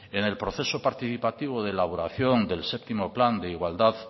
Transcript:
en el proceso participativo de elaboración del séptimo plan de igualdad